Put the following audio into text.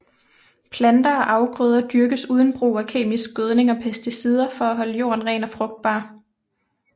Planter og afgrøder dyrkes uden brug af kemisk gødning og pesticider for at holde jorden ren og frugtbar